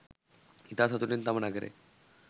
ඉතා සතුටින් තම නගරය